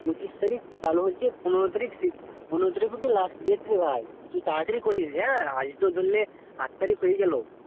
পঁচিশ তারিখ চালু হয়েছে পনেরো তারিখ last date রে ভাই তুই তারতারি করে নিস রে আজ তো ধরলে এত তারিখ হওয়ার গেলো